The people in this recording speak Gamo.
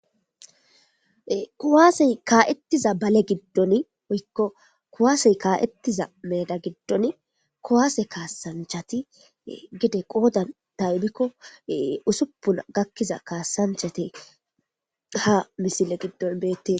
kuwaasey kaa'ettiza bale giddon woykko kuwaasey kaa7ettiza meda giddon kuwaase kaasanchati gide qoodan taybikko usupuna gakkiza kaasanchate ha misile giddon beette.